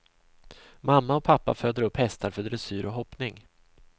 Mamma och pappa föder upp hästar för dressyr och hoppning.